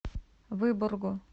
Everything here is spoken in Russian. выборгу